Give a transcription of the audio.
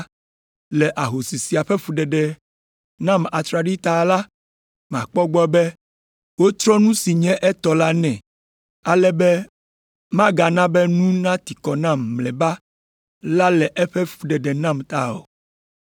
le ahosi sia ƒe fuɖeɖe nam atraɖii ta la, makpɔ egbɔ be wotrɔ nu si nye etɔ la nɛ ale be magana be nu nati kɔ nam mlɔeba la le eƒe fuɖeɖe nam ta o!’ ”